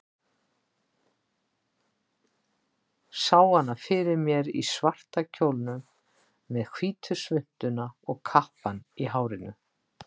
Sá hana fyrir mér í svarta kjólnum, með hvítu svuntuna og kappann í hárinu.